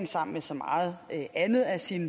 sammen med så meget andet af sin